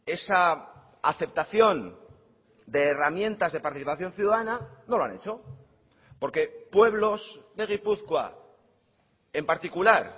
esa aceptación de herramientas de participación ciudadana no lo han hecho porque pueblos de gipuzkoa en particular